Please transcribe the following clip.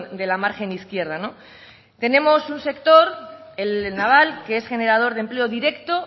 de la margen izquierda no tenemos un sector el naval que es generador de empleo directo